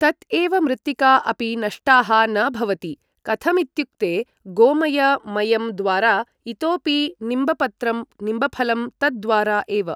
तत् एव मृत्तिका अपि नष्टाः न भवति कथमित्युक्ते गोमय मयं द्वारा इतोपि निम्बपत्रं निम्बफलं तद्द्वारा एव